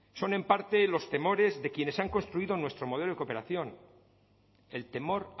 son en parte los temores de quienes han construido nuestro modelo de cooperación el temor